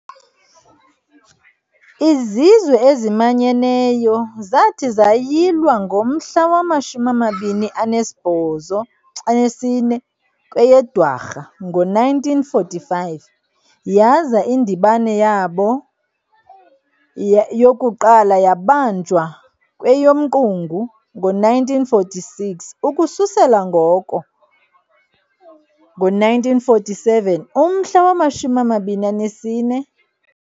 IZizwe eziManyeneyo zathi zayilwa ngomhla wama-24 kweyeDwarha ngo-1945 yaza indibano yabo yokuqala yabanjwa kweyomQungu ngo-1946. Ukususela ngo-1947, umhla wama-24.